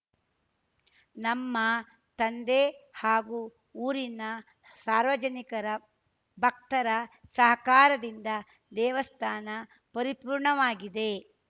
ನಮ್ಮ ತಂದೆ ಹಾಗೂ ಊರಿನ ಸಾರ್ವಜನಿಕರ ಭಕ್ತರ ಸಹಕಾರದಿಂದ ದೇವಸ್ಥಾನ ಪರಿಪೂರ್ಣವಾಗಿದೆ